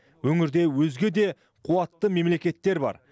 өңірде өзге де қуатты мемлекеттер бар